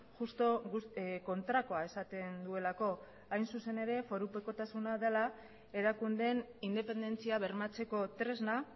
justu kontrakoa esaten duelako hain zuzen ere forupekotasuna dela erakundeen independentzia bermatzeko tresna